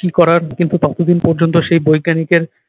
কী করার কিন্তু ততদিন পর্যন্ত সেই বৈজ্ঞানিকের